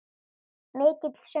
Mikill söngur.